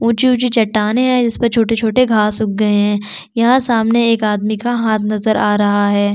ऊँची-ऊँची चट्टाने है इसमें छोटे-छोटे घास उग गए है यह सामने एक आदमी का हाथ नज़र आ रहा है।